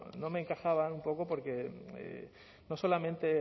no me encajaban un poco porque no solamente